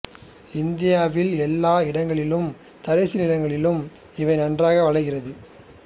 இந்தியாவில் எல்லா இடங்களிலும் தரிசு நிலங்களிலும் இவை நன்றாக வளர்கின்றது